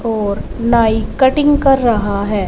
और नाई कटिंग कर रहा है।